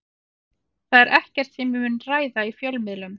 Það er ekkert sem ég mun ræða í fjölmiðlum.